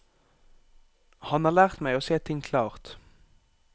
Han har lært meg å se ting klart.